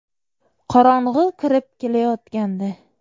Qorong‘i kirib kelayotgandi.